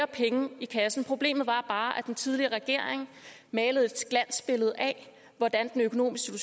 penge i kassen problemet var bare at den tidligere regering malede et glansbillede af hvordan den økonomiske